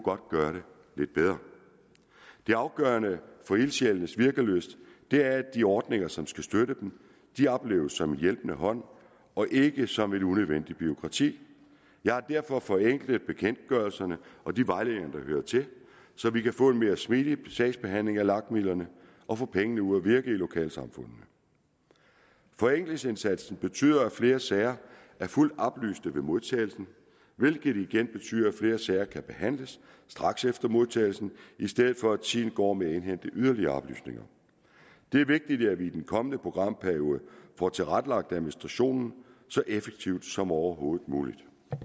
gøre det lidt bedre det afgørende for ildsjælenes virkelyst er at de ordninger som skal støtte dem opleves som en hjælpende hånd og ikke som et unødvendigt bureaukrati jeg har derfor forenklet bekendtgørelserne og de vejledninger der hører til så vi kan få en mere smidig sagsbehandling af lag midlerne og få pengene ud at virke i lokalsamfundene forenklingsindsatsen betyder at flere sager er fuldt oplyste ved modtagelsen hvilket igen betyder at flere sager kan behandles straks efter modtagelsen i stedet for at tiden går med at indhente yderligere oplysninger det er vigtigt at vi i den kommende programperiode får tilrettelagt administrationen så effektivt som overhovedet muligt